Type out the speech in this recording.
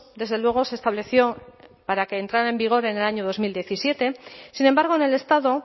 desde luego se estableció para que entrara en vigor en el año dos mil diecisiete sin embargo en el estado